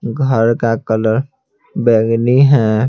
घर का कलर बैगनी है।